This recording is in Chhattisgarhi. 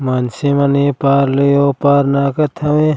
मानसे मन ए पार ले ओ पार नाहकत हवे।